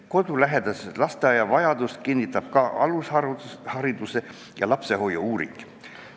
Kodulähedase lasteaia vajadust kinnitab ka alushariduse ja lapsehoiu uuring.